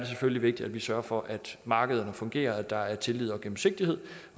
selvfølgelig vigtigt at vi sørger for at markederne fungerer og at der er tillid og gennemsigtighed